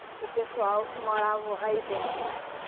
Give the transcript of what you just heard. o pessoal que morava aí dentro, né?